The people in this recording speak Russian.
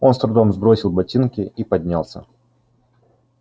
он с трудом сбросил ботинки и поднялся